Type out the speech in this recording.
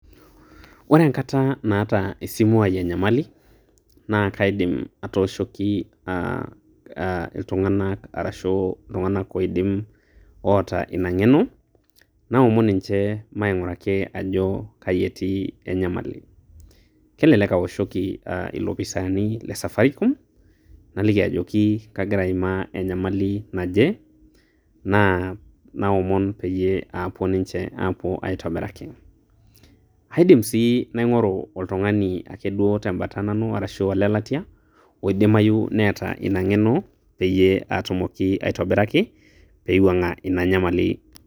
Ore enakata naata esimu ai enyamali, naa kaidim atooshoki aa aa iltung'anak arashu iltung'ak oidim oota inang'eno naomon ninche maing'uraki ajo kaietii enyamali. Kelelek aoshoki aa ilopisaani le safaricom nalaki ajoki kagira aimaa enyamali naje naa naomon peyie apuo ninche apuo aitobiraki. Aidim sii naing'oru oltung'ani ake duo tembata nanu arashu olelatia oidimayu neeta inang'eno peyie atumoki aitobiraki peiwuang'a enyamali.